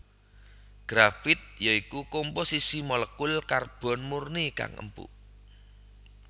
Grafit ya iku komposisi molekul karbon murni kang empuk